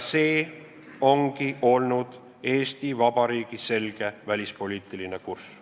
See ongi olnud Eesti Vabariigi selge välispoliitiline kurss.